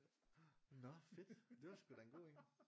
Nå fedt det var sgu da en god en